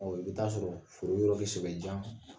Ɔ i bɛ ta'a sɔrɔ foro yɔrɔ jan